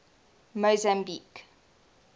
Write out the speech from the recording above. mozambique